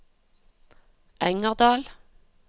Engerdal